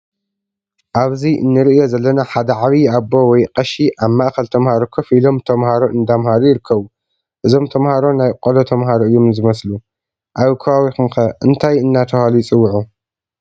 ኣብዚ እንርእዮ ዘለና ሓደ ዓብይ ኣቦ ወይ ቀሺ ኣብ ማእከል ተማሃሮ ኮፍ ኢሎም ተማሃሮ እንዳምሃሩ ይርከቡ። እዞም ተማሃሮ ናይ ቆሎ ተማሃሮ እዮም ዝመስሉ። ኣብ ከባቢኩም ከ እንታይ እንዳተባሃሉ ይፅውዑ?